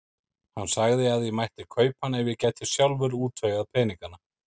Hann sagði að ég mætti kaupa hann ef ég gæti sjálfur útvegað peningana.